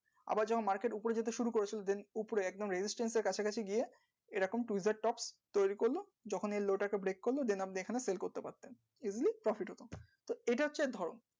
আবার যে market উপরের দিকে শুরু করেছে এই stream কাছাকাছি গিয়ে যখন law টাকে break করে fall করতে থাকে সেগুলো